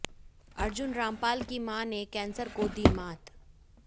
अर्जुन रामपाल की मां ने कैंसर को दी मात